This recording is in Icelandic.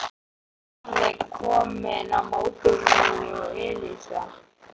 Lúlli kominn á mótorhjól og Elísa.